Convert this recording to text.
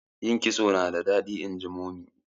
yin kitso nada dadi inji mummy